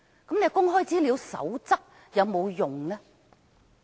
那麼，《公開資料守則》又有沒有用處呢？